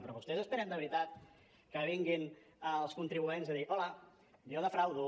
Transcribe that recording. però vostès esperen de veritat que vinguin els contribuent a dir hola jo defraudo